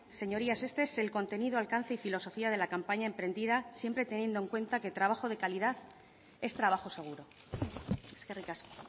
señorías este es el contenido alcance y filosofía de la campaña emprendida siempre teniendo en cuenta que el trabajo de calidad es trabajo seguro eskerrik asko